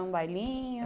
Um bailinho?